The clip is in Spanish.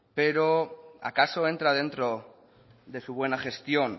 pero acaso entra dentro de su buena gestión